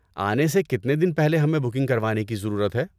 آنے سے کتنے دن پہلے ہمیں بکنگ کروانے کی ضرورت ہے؟